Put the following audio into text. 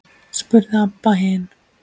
spurði Abba hin.